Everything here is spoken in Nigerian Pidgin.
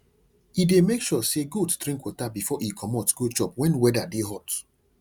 he dey make sure say goat drink water before e go commot go chop wen weather dey hot